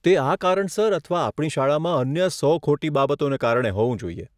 તે આ કારણસર અથવા આપણી શાળામાં અન્ય સો ખોટી બાબતોને કારણે હોવું જોઈએ.